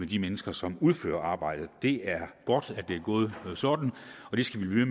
de mennesker som udfører arbejdet det er godt at det er gået sådan og det skal vi